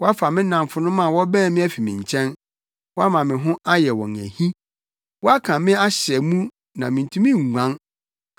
Woafa me nnamfonom a wɔbɛn me afi me nkyɛn woama me ho ayɛ wɔn ahi. Woaka me ahyɛ mu na mintumi nguan;